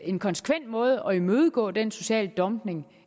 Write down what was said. en konsekvent måde at imødegå den sociale dumping